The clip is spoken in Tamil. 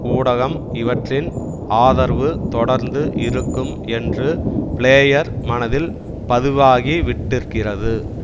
ஊடகம் இவற்றின் ஆதரவு தொடர்ந்து இருக்கும் என்று பிளேயர் மனத்தில் பதிவாகிவிட்டிருக்கிறது